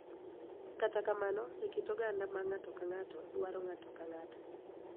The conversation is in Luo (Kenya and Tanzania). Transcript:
Kata kamano, e kit oganda ma ng�ato ka ng�ato dwaro ng�ato ka ng�ato,